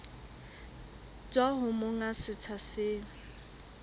tswa ho monga setsha seo